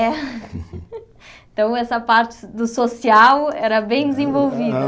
É então essa parte do social era bem desenvolvida.